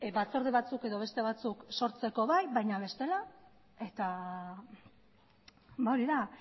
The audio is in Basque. batzorde batzuk edo beste batzuk sortzeko bai baina bestela eta hori da